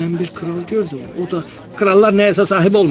Mən bir kral gördüm, o da krallar nəyəsə sahib olmurlar.